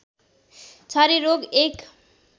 छारे रोग एक